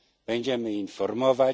Będziemy informować.